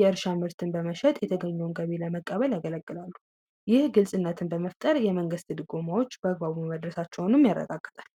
የእርሻ መሸጥ የተገኘው ለመቀበል ያገለግላሉ የግልጽነትን በመፍጠር የመንግስት ያረጋግጣል